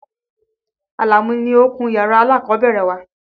Àlàmú ni ó kun yàrá alákọ̀ọ́bẹ̀rẹ̀ wa.